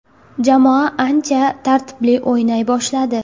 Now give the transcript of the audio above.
Jamoa ancha tartibli o‘ynay boshladi.